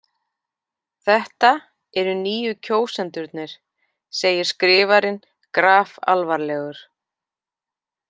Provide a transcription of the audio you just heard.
Þetta eru nýju kjósendurnir, segir skrifarinn grafalvarlegur.